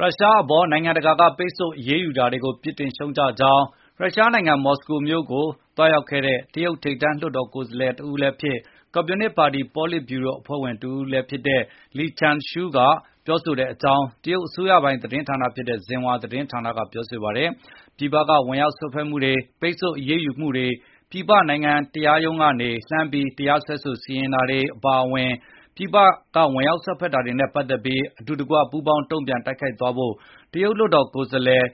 ရုရှားအပေါ် နိုင်ငံတကာက အရေးယူ ပိတ်ဆို့တာတွေကို ပြစ်တင်ရှုတ်ချကြောင်း ရုရှားနိုင်ငံ မော်စကိုမြို့တော်ကို သွားရောက်ခဲ့တဲ့ တရုတ်ထိပ်တန်း လွှတ်တော်ကိုယ်စားလှယ်တဦးလည်းဖြစ်၊ ကွန်မြူနစ်ပါတီ ပေါလစ်ဗျူရို အဖွဲ့ဝင်လည်း ဖြစ်တဲ့ Li Zhanshu ကပြောဆိုခဲ့ကြောင်း တရုတ်အစိုးရသတင်း ဌာနဖြစ်တဲ့ Xinhua သတင်းဌာနဖေါ်ပြပါတယ်။ ပြည်ပက ဝင်ရောက်စွက်ဖက်မှုတွေ၊ ပိတ်ဆို့အရေးယူမှုတွေ၊ ပြည်ပနိုင်ငံတရားရုံးကနေ လှမ်းပြီး တရားစွဲ စီရင်တာတွေ၊ အပါအဝင် ပြည်ပက ဝင်ရောက်စွက်ဖက်တာတွေနဲ့ ပတ်သက်ပြီး အတူတကွ ပူးပေါင်းတုန့်ပြန် တိုက်ခိုက်သွားဖို့ တရုတ် လွှတ်တော်ကိုယ်စားလှယ်